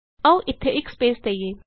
ਆਉ ਇਥੇ ਇਕ ਸਪੈਸ ਦਈਏ